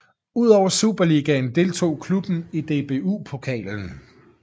Udover Superligaen deltog klubben i DBU Pokalen